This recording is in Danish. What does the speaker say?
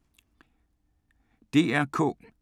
DR K